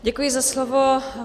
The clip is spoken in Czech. Děkuji za slovo.